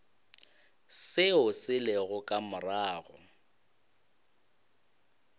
seo se lego ka morago